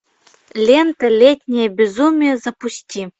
лента летнее безумие запусти